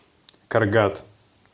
каргат